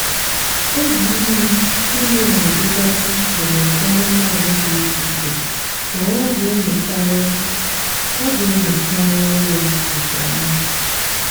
oge ime ime na-adịgasị iche n'ụdị anụmanụ dị iche iche mana a ga-enyocharịrị a ga-enyocharịrị ya nke ọma.